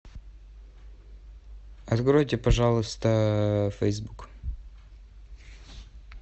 откройте пожалуйста фейсбук